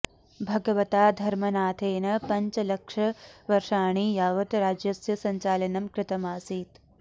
भगवता धर्मनाथेन पञ्चलक्षवर्षाणि यावत् राज्यस्य सञ्चालनम् कृतम् आसीत्